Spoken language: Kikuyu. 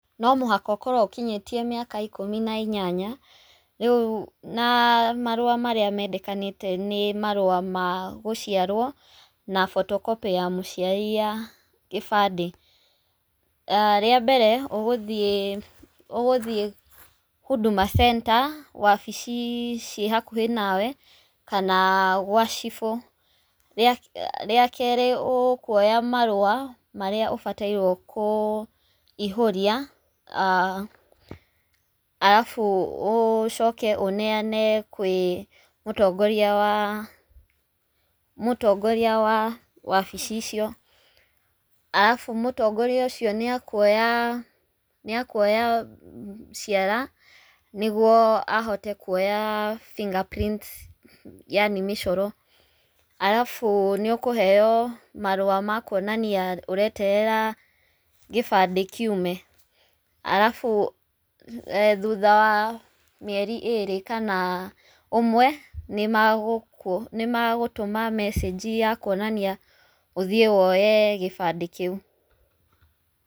No mũhaka ũkorwo ũkinyĩtie mĩaka ikũmi na inyanya, rĩu na marũa marĩa mendekanĩte nĩ marũa ma gũciarwo na photocopy ya mũciari ya gĩbandĩ. Rĩa mbere ũgũthiĩ Huduma Center wabici ciĩ hakuhĩ nawe kana gwa cibũ. Rĩa kerĩ ũkuoya marũa marĩa ũbatairwo kũihũria arabu ũcoke ũneyane kwĩ mũtongoria wa wabici icio. Arabu mũtongoria ũcio nĩ akuoya ciara nĩguo ahote kuoya finger prin t yaani mĩcoro. Arabu nĩ ũkũheyo marũa ma kuonania ũreterera gĩbandĩ kiume. Arabu thutha wa mĩeri ĩrĩ kana ũmwe nĩ magũtũma mecĩnji ya kuonania ũthiĩ woye kĩbandĩ kĩu.